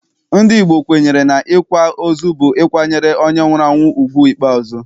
Ndị Igbo kwenyere n'ịkwa ozu bụ ịkwanyere onye nwụrụ anwụ ugwu ikpeazụ.